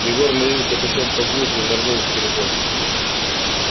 егор надвинул капюшон глубже не останавливаясь проскочил мимо ларьков нырнул в переход